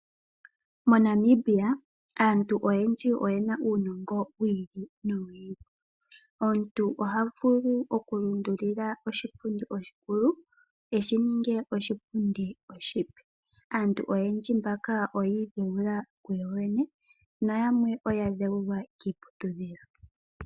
Mo Namibia aantu oyendji oyena uunongo wi ili nowi ili. Omuntu oha vulu oku lundulula oshipundi oshikulu eshi ninge oshipundi oshipe. Aantu oyendji mbaka oya idhewula kuyo yene, na yamwe oya dhewulwa kiiputidhilo.